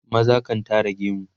maza kan Tara gemu